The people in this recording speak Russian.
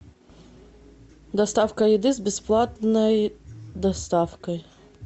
доставка еды с бесплатной доставкой